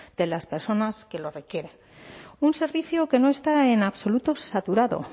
de las personas que lo requieran un servicio que no está en absoluto saturado